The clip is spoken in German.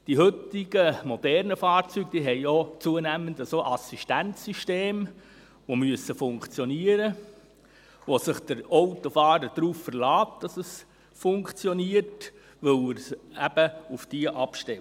Die heutigen, modernen Fahrzeuge haben zunehmend auch Assistenz-Systeme, die funktionieren müssen und bei denen sich der Autofahrer darauf verlässt, dass es funktioniert, weil er eben auf diese abstellt.